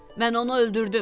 Mən onu öldürdüm.